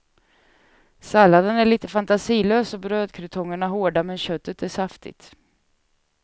Salladen är lite fantasilös och brödkrutongerna hårda, men köttet är saftigt.